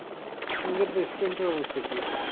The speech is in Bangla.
আপনাদের restaurant এর অবস্থা কি?